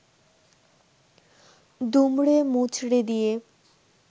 দুমড়ে-মুচড়ে দিয়ে